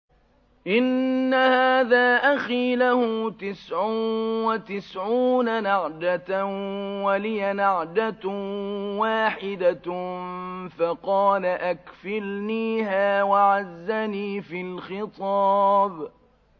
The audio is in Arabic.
إِنَّ هَٰذَا أَخِي لَهُ تِسْعٌ وَتِسْعُونَ نَعْجَةً وَلِيَ نَعْجَةٌ وَاحِدَةٌ فَقَالَ أَكْفِلْنِيهَا وَعَزَّنِي فِي الْخِطَابِ